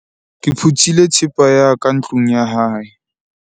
ke phuthile thepa ya ka ntlong ya hae